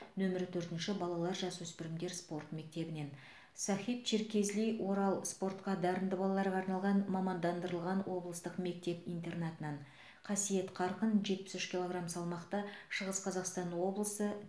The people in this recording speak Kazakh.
нөмірі төртінші балалар жасөспірімдер спорт мектебінен сахиб черкезли орал спортқа дарынды балаларға арналған мамандандырылған облыстық мектеп интернатынан қасиет қарқын жетпіс үш килограмм салмақта шығыс қазақстан облысы